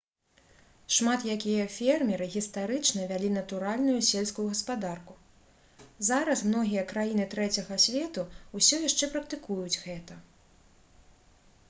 шмат якія фермеры гістарычна вялі натуральную сельскую гаспадарку зараз многія краіны трэцяга свету ўсё яшчэ практыкуюць гэта